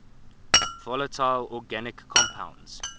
volatile organic compounds